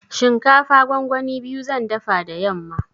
Shinkafa gongoni biyu zan dafa da yamma.